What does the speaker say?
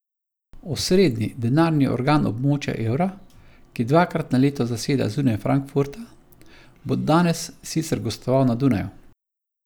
Osrednji denarni organ območja evra, ki dvakrat na leto zaseda zunaj Frankfurta, bo danes sicer gostoval na Dunaju.